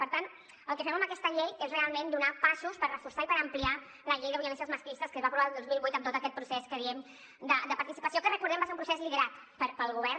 per tant el que fem amb aquesta llei és realment fer passos per reforçar i per ampliar la llei contra les violències masclistes que es va aprovar el dos mil vuit amb tot aquest procés que diem de participació que recordem ho va ser un procés liderat pel govern